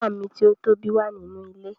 Ìyá mi ti o tobi wa nínú ilé.